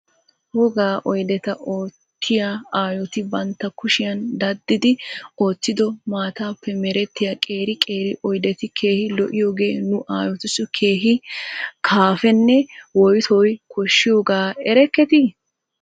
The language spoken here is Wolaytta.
Wogaa oydeta oottiya aayoti bantta kushiyan daddidi oottido mattappe merettiya qeeri qeeri oydeti keehi lo'iyoogee nu aayotussi keehi kaaffeenne woytoy koshshiyooga erekketi?